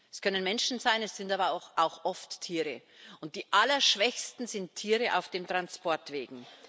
Das können Menschen sein, es sind aber auch oft Tiere, und die Allerschwächsten sind Tiere auf den Transportwegen.